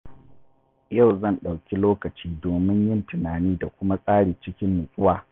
Yau zan ɗauki lokaci domin yin tunani da kuma tsari cikin nutsuwa.